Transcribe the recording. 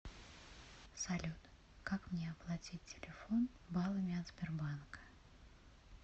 салют как мне оплатить телефон баллами от сбербанка